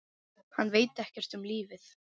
Hann veit ekkert um lífið.